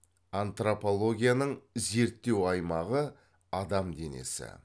антропологияның зерттеу аймағы адам денесі